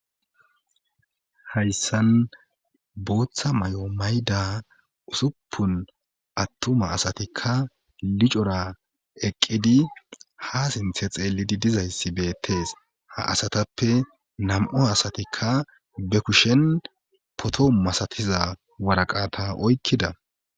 Hassan booththa may7o mayda usuppun attuma asatikka licora eqqidi ha sinthe xeellidi dizayssi beettes ha asatappe nam7o asatikka be kushen potoo masatiza waraqata oykkida.